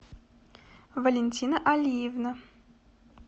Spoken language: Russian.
валентина алиевна